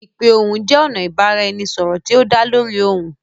Ipe ohùn jẹ ọna ibaraẹnisọrọ ti o da lórí ohyun.